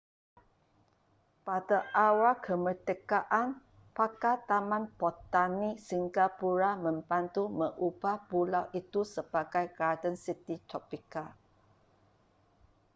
pada awal kemerdekaan pakar taman botani singapura membantu mengubah pulau itu sebagai garden city tropika